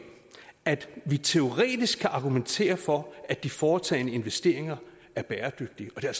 at vi teoretisk kan argumentere for at de foretagne investeringer er bæredygtige og det er